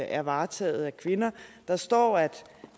er varetaget af kvinder der står at